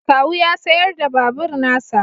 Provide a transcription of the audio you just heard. Kawu ya sayar da babur na sa